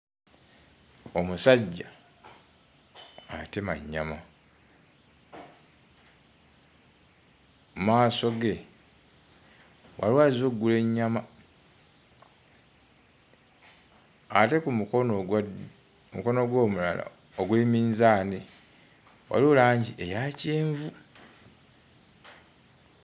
Omusajja atema nnyama, mu maaso ge waliwo azze oggula ennyama, ate ku mukono ogwa ddyo, ku mukono gwe omulala ogwe minzaani waliwo langi eya kyenvu.